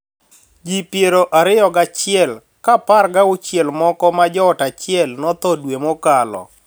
Ji pier ariyo gachiel ka apar ga auchiel moko ma joot achiel notho dwe mokalo